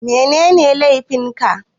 Mene laifin ka?